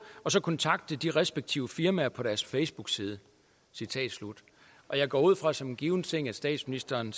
og så kontakte de respektive firmaer på deres facebook side jeg går ud fra som en given ting at statsministeren